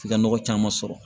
F'i ka nɔgɔ caman sɔrɔ